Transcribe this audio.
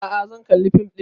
A'a zan kalla fim ɗin